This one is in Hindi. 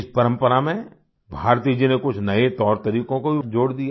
इस परंपरा में भारती जी ने कुछ नए तौर तरीकों को भी जोड़ दिया